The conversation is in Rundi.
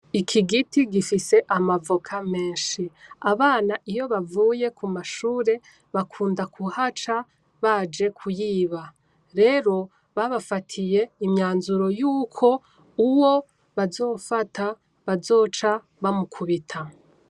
Iki giti gifise amavoka meshi, Abana iyo bavuye k'umashure bakunda kuhaca baje kuyiba rero babafatiye imyanzuro yuko uwo bazofata bazoca bamukubita.